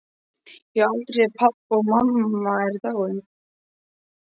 Ég hef aldrei séð pabba og mamma er dáin.